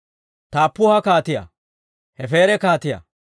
Taappuha kaatiyaa, Hefeera kaatiyaa,